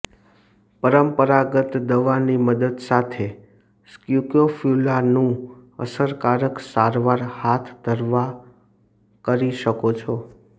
પરંપરાગત દવા ની મદદ સાથે સ્ક્રોફ્યુલાનું અસરકારક સારવાર હાથ ધરવા કરી શકો છો